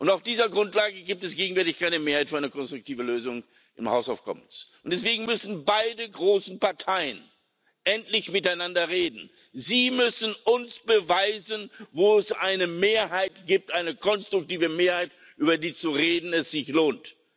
Auf dieser Grundlage gibt es gegenwärtig keine Mehrheit für eine konstruktive Lösung im House of Commons. Deswegen müssen beide großen Parteien endlich miteinander reden. Sie müssen uns beweisen, wo es eine Mehrheit gibt, eine konstruktive Mehrheit, über die zu reden es sich lohnt.